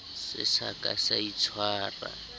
se sa ka sa itshwara